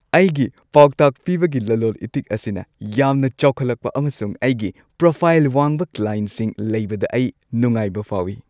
ꯑꯩꯒꯤ ꯄꯥꯎꯇꯥꯛ ꯄꯤꯕꯒꯤ ꯂꯂꯣꯟ ꯏꯇꯤꯛ ꯑꯁꯤꯅ ꯌꯥꯝꯅ ꯆꯥꯎꯈꯠꯂꯛꯄ ꯑꯃꯁꯨꯡ ꯑꯩꯒꯤ ꯄ꯭ꯔꯣꯐꯥꯏꯜ ꯋꯥꯡꯕ ꯀ꯭ꯂꯥꯏꯟꯠꯁꯤꯡ ꯂꯩꯕꯗ ꯑꯩ ꯅꯨꯡꯉꯥꯏꯕ ꯐꯥꯎꯏ ꯫